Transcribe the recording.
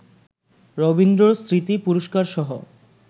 রবীন্দ্রস্মৃতি পুরস্কারসহ